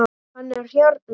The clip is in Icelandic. Hann er hérna.